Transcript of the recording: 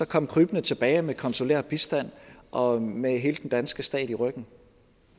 komme krybende tilbage med konsulær bistand og med hele den danske stat i ryggen